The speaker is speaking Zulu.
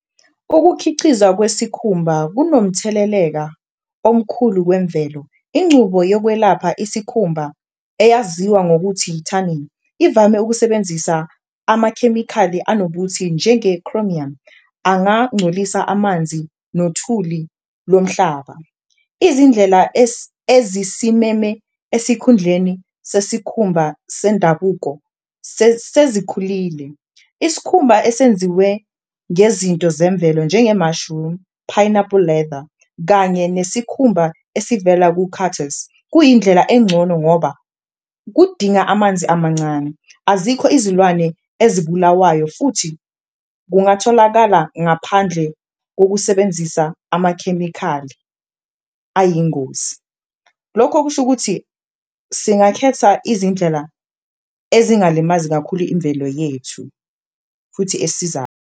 Ukukhicizwa kwesikhumba kunomtheleleka omkhulu wemvelo, incubo yokwelapha isikhumba eyaziwa ngokuthi ithaningi ivame ukusebenzisa amakhemikhali anobuthi njenge-chromium, angangcolisa amanzi nothuli lomhlaba. Izindlela ezisimeme esikhundleni sesikhumba sendabuko sezikhulile iskhumba esenziwe ngezinto zemvelo njengemashirumu, phayinaphuli leda kanye nesikhumba esivela kukhathesi, kuyindlela engcono ngoba kudinga amanzi amancane azikho izilwane esibulawayo futhi kungatholakala, ngaphandle kokusebenzisa amakhemikhali ayingozi. Lokho kusho ukuthi singakhetha izindlela ezingalimazi kakhulu imvelo yethu futhi esizayo.